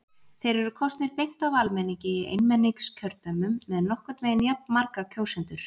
Þeir eru kosnir beint af almenningi í einmenningskjördæmum með nokkurn veginn jafnmarga kjósendur.